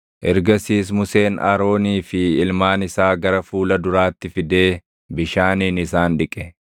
Ergasiis Museen Aroonii fi ilmaan isaa gara fuula duraatti fidee bishaaniin isaan dhiqe.